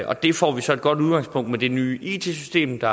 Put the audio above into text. og der får vi så et godt udgangspunkt med det nye it system der